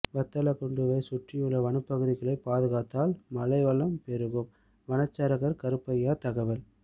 வத்தலக்குண்டுவை சுற்றியுள்ள வனப்பகுதிகளை பாதுகாத்தால் மழை வளம் பெருகும் வனச்சரகர் கருப்பையா தகவல்